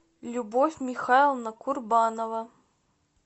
любовь михайловна курбанова